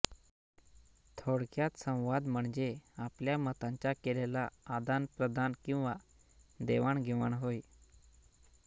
थोडक्यात संवाद म्हणजे आपल्या मतांचा केलेला आदान प्रदान किंवा देवाण घेवाण होय